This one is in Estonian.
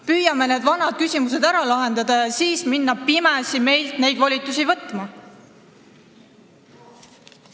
Püüame need vanad küsimused ära lahendada ja siis hakkame pimesi meilt neid volitusi võtma.